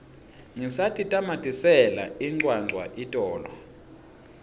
ngisatitamatisela incwancwa itolo